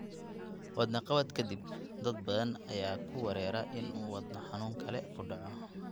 Wadne qabad ka dib, dad badan ayaa ka werwera in uu wadno xanuun kale ku dhaco.